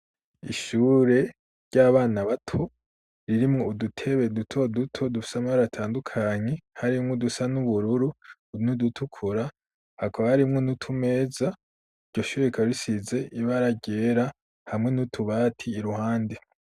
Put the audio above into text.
Ishure ry'abana bato, ririmwo udutebe duto duto dufise amabara atandukanye, harimwo udusa n'ubururu n'udutukura, hakaba harimwo n'utumeza, iryo shuri rikaba risize ibara ryera, hamwe n'utubati iruhande.